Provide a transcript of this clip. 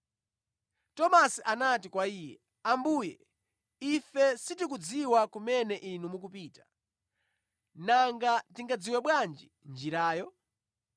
Tomasi anati kwa Iye, “Ambuye ife sitikudziwa kumene Inu mukupita, nanga tingadziwe bwanji njirayo?”